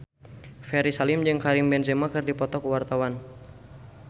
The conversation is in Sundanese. Ferry Salim jeung Karim Benzema keur dipoto ku wartawan